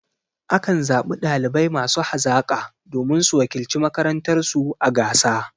A kan zaɓi ɗalibai masu hazaƙa domin su wakilci makarantar su a gasa.